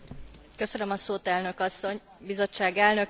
Bizottság Elnöke, Biztos Asszony, Miniszter Asszony!